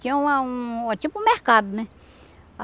Tinha uma um tipo um mercado, né?